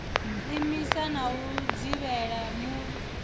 imisa na u dzivhela mul